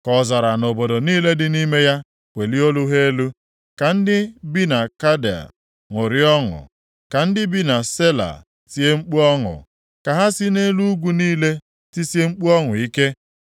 Ka ọzara na obodo niile dị nʼime ya welie olu ha elu, ka ndị bi na Keda ṅụrịa ọṅụ. Ka ndị bi na Sela tie mkpu ọṅụ, ka ha si nʼelu ugwu niile tisie mkpu ọṅụ ike.